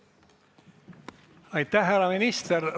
Aitäh, härra minister!